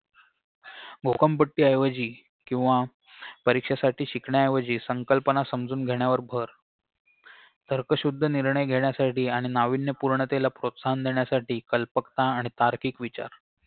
घोकंपट्टी ऐवजी किंवा परीक्षेसाठी शिकण्याऐवजी संकल्पना समजून घेण्यावर भर तर्कशुद्ध निर्णय घेण्यासाठी आणि नावीन्यपूर्णतेला प्रोत्साहन देण्यासाठी कल्पकता आणि तार्किक विचार